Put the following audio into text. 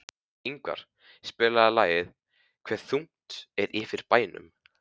Ingvar, spilaðu lagið „Hve þungt er yfir bænum“.